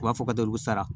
U b'a fɔ ka da olu sara